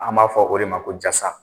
An b'a fɔ o de ma ko jasa.